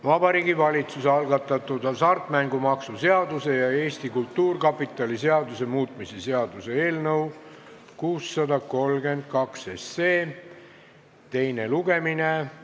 Vabariigi Valitsuse algatatud hasartmängumaksu seaduse ja Eesti Kultuurkapitali seaduse muutmise seaduse eelnõu teine lugemine.